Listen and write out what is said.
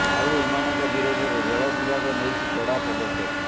ଆଉ ଏମାନଙ୍କ ବିରୋଧରେ ରେଳ ବିଭାଗ ନେଇଛି କଡା ପଦକ୍ଷେପ